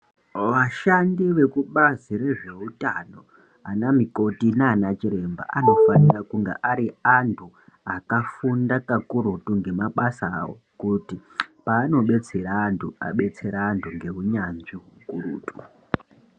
Vashandi vekubazi rezvewutano ana mikoti nana chiremba anofanira kunge ari antu akafunda kakurutu ngemabasa avo kuti paanobrtsera andu abetsere antu ngeunyanzvi hukurutu.